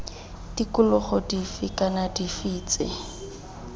tikologo dife kana dife tse